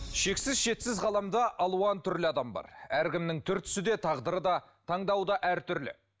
шексіз шетсіз ғаламда алуан түрлі адам бар әркімнің түр түсі де тағдыры да таңдауы да әртүрлі